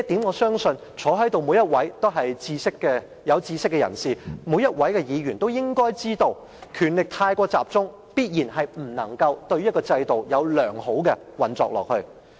我相信在席每位議員都是有識之士，他們都應該知道，權力過於集中，必定令制度不能良好地運作下去。